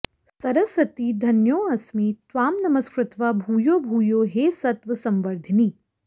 सरस्वति धन्योऽस्मि त्वां नमस्कृत्वा भूयो भूयो हे सत्व संवर्धिनि